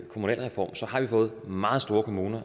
kommunalreformen har vi fået meget store kommuner